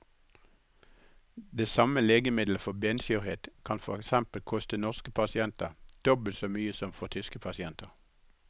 Det samme legemiddelet for benskjørhet kan for eksempel koste norske pasienter dobbelt så mye som for tyske pasienter.